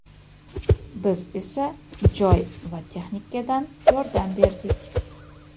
biz esa joy va texnikadan yordam berdik.